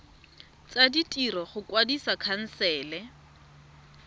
tsa ditiro go kwadisa khansele